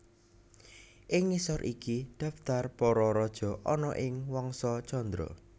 Ing ngisor iki dhaptar para raja ana ing Wangsa Candra